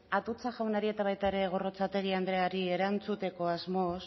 atutxa jaunari eta baita ere gorrotxategi andreari erantzuteko asmoz